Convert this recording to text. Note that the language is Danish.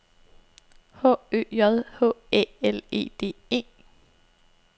H Ø J H Æ L E D E